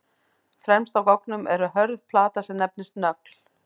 Fremst á goggnum er hörð plata sem nefnist nögl.